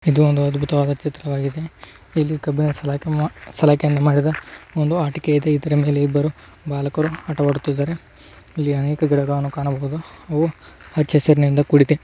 ಇದು ಒಂದು ಅದ್ಬುತವಾದ ಚಿತ್ರವಾಗಿದೆ. ಇಲ್ಲಿ ತುಂಬಾ ಸಲಾಕೆಯನ್ನು ಮಾಡಿದೆ ಇಲ್ಲಿ ಆಟಿಕೆ ಇದೆ. ಇಲ್ಲಿ ಇಬ್ಬರು ಬಾಲಕರು ಆಟವಾಡುತ್ತಿದ್ದಾರೆ. ಇಲ್ಲಿ ಅನೇಕ ಗಿಡಗಳನ್ನು ಕಾಣಬಹುದು. ಅವು ಹಚ್ಚಹಸಿರಿನಿಂದ ಕೂಡಿದೆ.